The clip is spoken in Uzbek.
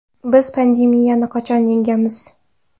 Biz pandemiyani qachon yengamiz?